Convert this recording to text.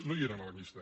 no hi eren a la llista